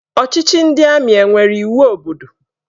Ọchịchị ndị amị enwere iwu obodo?